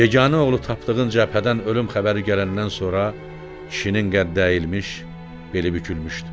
Yeganə oğlu tapdığından cəbhədən ölüm xəbəri gələndən sonra kişinin qədd əyilmiş, beli bükülmüşdü.